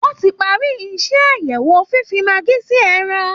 Wọ́n ti parí iṣẹ́ àyẹ̀wò fífi maggi sí ẹran